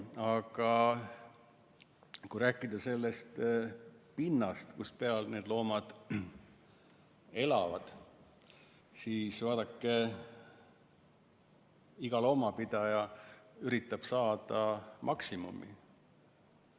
Aga kui rääkida sellest pinnast, kus peal need loomad elavad, siis vaadake, iga loomapidaja üritab saada maksimumi.